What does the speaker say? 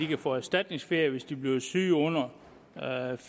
kan få erstatningsferie hvis de bliver syge under ferie